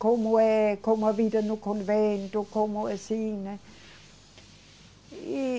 Como é, como a vida no convento, como assim, né? E